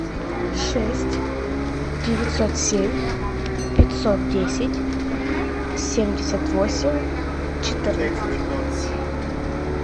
шесть девятьсот семь пятьсот десять семьдесят восемь четырнадцать